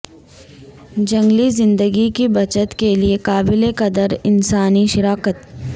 جنگلی زندگی کی بچت کے لئے قابل قدر انسانی شراکت